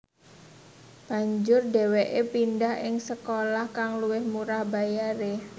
Banjur dheweke pndhah ing sekolah kang luwih murah bayare